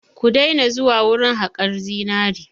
Ku daina zuwa wurin haƙan zinari!